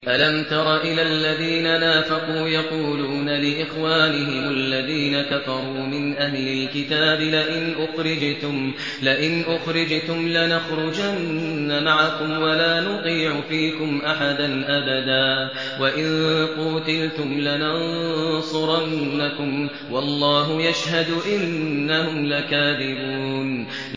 ۞ أَلَمْ تَرَ إِلَى الَّذِينَ نَافَقُوا يَقُولُونَ لِإِخْوَانِهِمُ الَّذِينَ كَفَرُوا مِنْ أَهْلِ الْكِتَابِ لَئِنْ أُخْرِجْتُمْ لَنَخْرُجَنَّ مَعَكُمْ وَلَا نُطِيعُ فِيكُمْ أَحَدًا أَبَدًا وَإِن قُوتِلْتُمْ لَنَنصُرَنَّكُمْ وَاللَّهُ يَشْهَدُ إِنَّهُمْ لَكَاذِبُونَ